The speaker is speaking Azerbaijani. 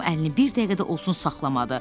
Tom əlini bir dəqiqə də olsun saxlamadı.